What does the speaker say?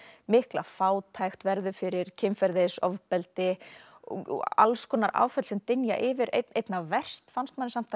mikla fátækt verður fyrir kynferðisofbeldi og alls konar áföll sem dynja yfir einna verst fannst manni samt að